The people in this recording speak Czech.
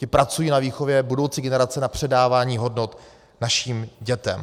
Ti pracují na výchově budoucí generace, na předávání hodnot našim dětem.